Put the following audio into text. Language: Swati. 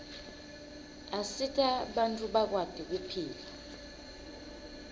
asita bantfu bakwati kuphila